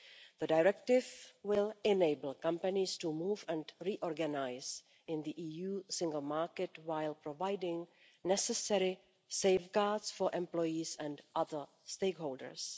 The directive will enable companies to move and reorganise in the EU single market while providing necessary safeguards for employees and other stakeholders.